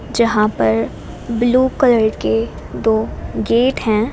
यहां पर blue colour के दो गेट हैं।